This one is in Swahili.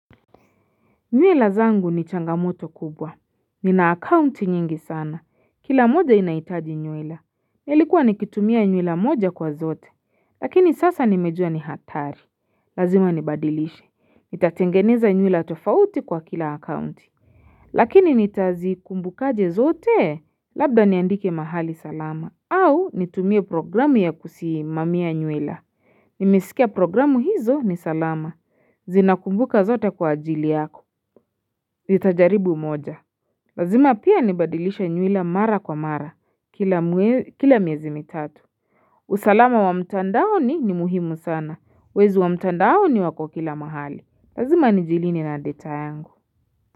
Nywila zangu ni changamoto kubwa. Nina akaunti nyingi sana. Kila moja inahitaji nywila. Nilikuwa nikitumia nywila moja kwa zote lakini sasa nimejua ni hatari. Lazima nibadilishe. Nitatengeneza nywila tofauti kwa kila akaunti. Lakini nitazikumbukaje zote? Labda niandike mahali salama au nitumie programu ya kusimamia nywila. Nimesikia programu hizo ni salama. Zinakumbuka zote kwa ajili yako. Zitajaribu moja. Lazima pia nibadilishe nywila mara kwa mara. Kila Kila miezi mitatu. Usalama wa mtandaoni ni muhimu sana. Wezi wa mtandaoni wako kila mahali. Lazima nijilinde na data yangu.